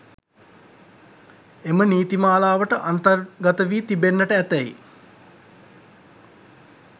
එම නීති මාලාවට අන්තර්ගත වී තිබෙන්නට ඇතැයි